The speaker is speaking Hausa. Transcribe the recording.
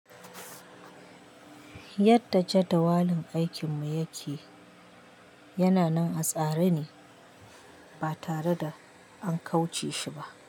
Yadda jadawalin aikinmu yake, yana nan a tsare ne ba tare da an kauce shi ba.